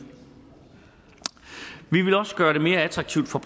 vi vil også gøre det mere attraktivt for